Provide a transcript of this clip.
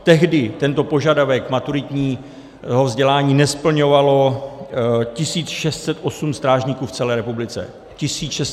Tehdy tento požadavek maturitního vzdělání nesplňovalo 1 608 strážníků v celé republice.